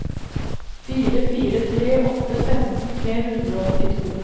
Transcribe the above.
fire fire tre åtte femten tre hundre og åttito